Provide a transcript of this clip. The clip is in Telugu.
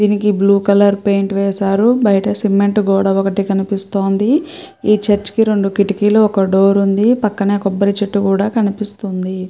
దీనికి బ్లూ కలర్ పేయింట్ వేశారు బయట సిమెంట్ గోడ ఒకటి కనిపిస్తుంది. ఈ చర్చి కి రెండు కిటికీలు ఒక డోర్ ఉంది పక్కన కొబ్బరి చెట్టు కూడా కనిపిస్తుంది.